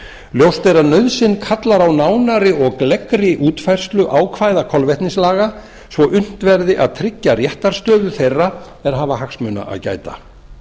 ljóst er að nauðsyn kallar á nánari og gleggri útfærslu á ákvæðum kolvetnislaga svo unnt verði að tryggja réttarstöðu þeirra er hafa hagsmuna að gæta